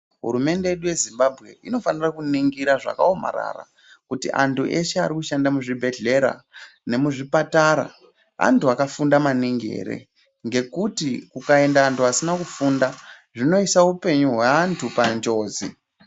Hurumende yedu yeZimbabwe inofanira kuningira zvakaomarara kuti antu eshe arikushada muzvibhedhlera nemuzvipatara antu akafunda maningi ere ngekuti kukaenda asina kufunda zvinoisa upenyu hweantu panjodzi.